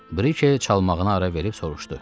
Brikiye çalmağına ara verib soruşdu.